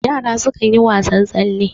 yara sukan yi wasan tsalle